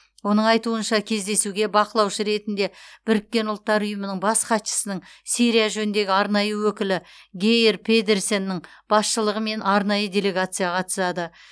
оның айтуынша кездесуге бақылаушы ретінде біріккен ұлттар ұйымының бас хатшысының сирия жөніндегі арнайы өкілі гейр педерсеннің басшылығымен арнайы делегация қатысады